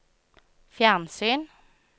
fjernsyn